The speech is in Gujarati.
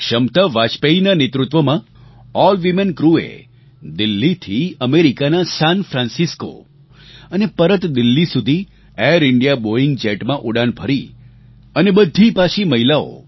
ક્ષમતા વાજપેયીના નેતૃત્વમાં ઓલ વીમેન ક્રૂએ દિલ્લીથી અમેરિકાના સાન ફ્રાન્સિસ્કો અને પરત દિલ્લી સુધી ઍર ઇન્ડિયા બૉઇંગ જેટમાં ઉડાન ભરી અને બધી પાછી મહિલાઓ